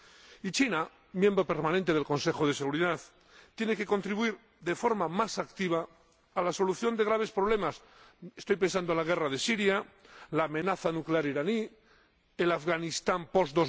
Y China, miembro permanente del Consejo de Seguridad de las Naciones Unidas, tiene que contribuir de forma más activa a la solución de graves problemas —estoy pensando en la guerra de Siria, la amenaza nuclear iraní, el Afganistán post